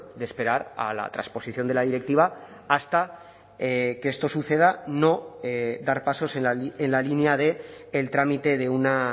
de esperar a la transposición de la directiva hasta que esto suceda no dar pasos en la línea del trámite de una